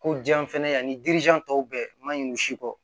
Ko jan fɛnɛ ani tɔw bɛɛ ma ɲin'u si kɔ